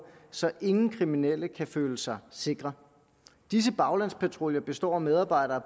så ingen kriminel kan føle sig sikker disse baglandspatruljer består af medarbejdere